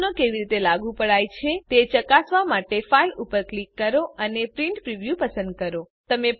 સુયોજનો કેવી રીતે લાગુ પડાયા છે તે ચકાસવા માટે ફાઇલ ઉપર ક્લિક કરો અને પ્રિન્ટ પ્રિવ્યૂ પસંદ કરો